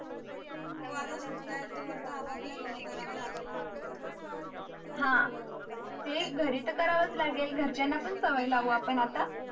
हो आता सुट्या आहेत तर आपाप लय घरी करावा लागेल ना टोपरेंत हा ते शरि तर करावाच लागेल घरच्यांचा पण सवय लावू आता